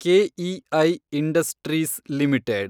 KEI industries limited